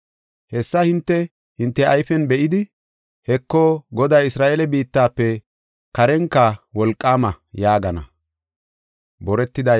Hessa hinte, hinte ayfen be7idi, “Heko, Goday Isra7eele biittafe karenka wolqaama” yaagana.